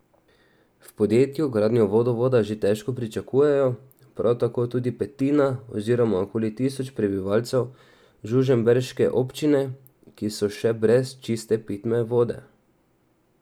V podjetju gradnjo vodovoda že težko pričakujejo, prav tako tudi petina oziroma okoli tisoč prebivalcev žužemberške občine, ki so še brez čiste pitne vode.